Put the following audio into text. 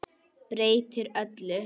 Breytir öllu.